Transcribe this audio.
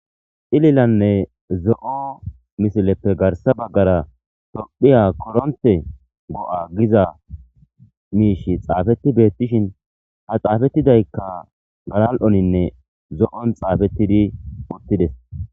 xililanne zo7o misileppe garsa baggara tophiya koronte go7a giza miishi xaafetti bettishin ha xaafettidaykka galal7oninne zo7on xaafettidi uttides